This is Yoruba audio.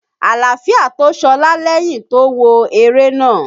Àlááfíà tó Ṣọlá lẹ́yìn to wò eré náà.